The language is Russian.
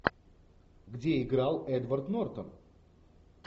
где играл эдвард нортон